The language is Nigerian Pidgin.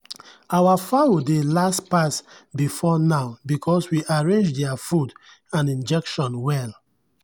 our fowl dey last pass before now because we arrange their food and injection well.